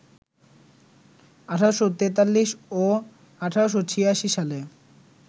১৮৪৩ ও ১৮৮৬ সালে